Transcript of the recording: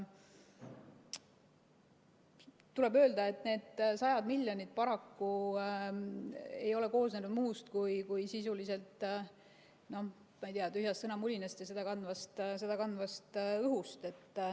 Tuleb öelda, et need sajad miljonid ei ole paraku koosnenud muust kui, ma ei tea, tühjast sõnamulinast ja seda kandvast õhust.